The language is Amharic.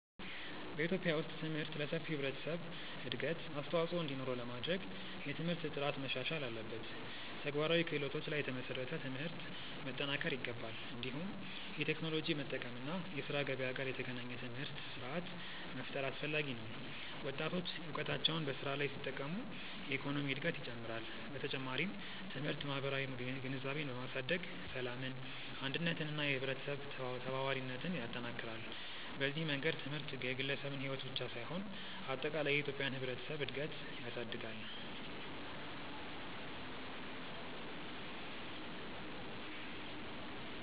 በኢትዮጵያ ውስጥ ትምህርት ለሰፊው ህብረተሰብ እድገት አስተዋፅኦ እንዲኖረው ለማድረግ የትምህርት ጥራት መሻሻል አለበት፣ ተግባራዊ ክህሎቶች ላይ የተመሰረተ ትምህርት መጠናከር ይገባል። እንዲሁም የቴክኖሎጂ መጠቀም እና የስራ ገበያ ጋር የተገናኘ ትምህርት ስርዓት መፍጠር አስፈላጊ ነው። ወጣቶች እውቀታቸውን በስራ ላይ ሲጠቀሙ የኢኮኖሚ እድገት ይጨምራል። በተጨማሪም ትምህርት ማህበራዊ ግንዛቤን በማሳደግ ሰላምን፣ አንድነትን እና የህብረተሰብ ተባባሪነትን ይጠናክራል። በዚህ መንገድ ትምህርት የግለሰብን ሕይወት ብቻ ሳይሆን አጠቃላይ የኢትዮጵያን ህብረተሰብ እድገት ያሳድጋል።